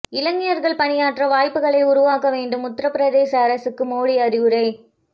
இளைஞர்கள் பணியாற்ற வாய்ப்புகளை உருவாக்க வேண்டும் உத்தரபிரதேச அரசுக்கு மோடி அறிவுரை